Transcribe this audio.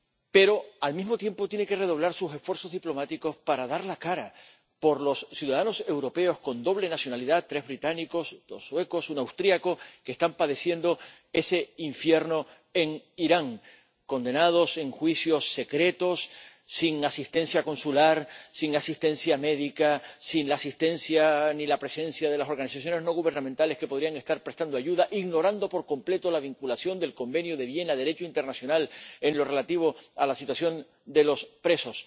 Pero, al mismo tiempo, tiene que redoblar sus esfuerzos diplomáticos para dar la cara por los ciudadanos europeos con doble nacionalidad —tres británicos, dos suecos, un austriaco— que están padeciendo ese infierno en Irán condenados en juicios secretos sin asistencia consular, sin asistencia médica, sin la asistencia ni la presencia de las organizaciones no gubernamentales que podrían estar prestando ayuda, ignorando por completo la vinculación de la Convención de Viena, Derecho internacional en lo relativo a la situación de los presos.